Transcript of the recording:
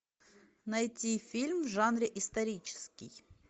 найти фильм в жанре исторический